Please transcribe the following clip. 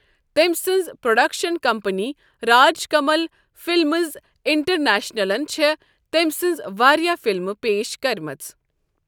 تٔمۍ سٕنزِ production company Raj Kamal films اِنٹرنیشنلن چھےٚ تٔمۍ سنزٕ وارِیاہ فِلمہٕ پیش کرِمژٕ ۔